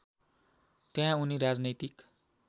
त्यहाँ उनी राजनैतिक